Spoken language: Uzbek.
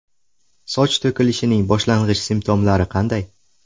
Soch to‘kilishining boshlang‘ich simptomlari qanday?